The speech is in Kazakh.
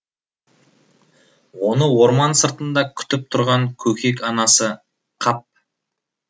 оны орман сыртында күтіп тұрған көкек анасы қап